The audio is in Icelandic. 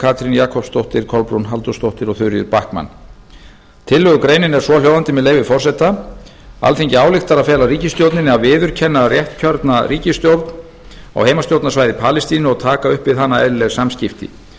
katrín jakobsdóttir kolbrún halldórsdóttir og þuríður backman tillögugreinin er svohljóðandi með leyfi forseta alþingi ályktar að fela ríkisstjórninni að viðurkenna réttkjörna ríkisstjórn á heimastjórnarsvæði palestínu og taka upp við hana eðlileg samskipti